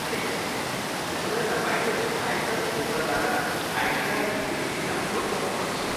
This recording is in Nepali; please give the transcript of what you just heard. ठिक छ, त्यसोभए तपाईँले आयकर पोर्टलबाट आइटिआर युटिलिटी डाउनलोड गर्नु पर्छ।